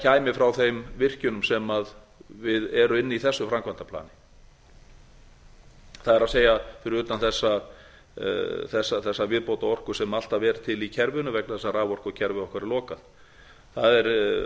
kæmi frá þeim virkjunum sem eru inni í þessu framkvæmdaplani það er fyrir utan þessa viðbótarorku sem alltaf er til í kerfinu vegna þess að raforkukerfi okkar er lokað það